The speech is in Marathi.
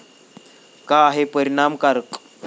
का आहे परिणामकारक?